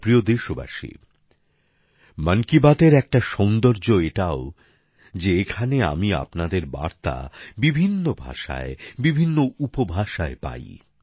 আমার প্রিয় দেশবাসী মন কি বাতএর একটা সৌন্দর্য এটাও যে এখানে আমি আপনাদের বার্তা বিভিন্ন ভাষায় ও বিভিন্ন উপভাষায় পাই